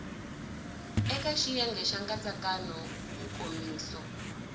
eka xiyenge xa nkatsakanyo nkomiso